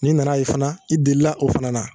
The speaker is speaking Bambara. N'i nana ye fana i delila o fana na